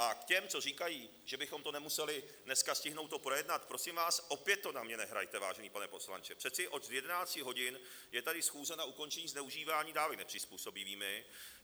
A k těm, co říkají, že bychom nemuseli dneska stihnout to projednat: prosím vás, opět to na mě nehrajte, vážený pane poslanče, přece od 11 hodin je tady schůze na ukončení zneužívání dávek nepřizpůsobivými.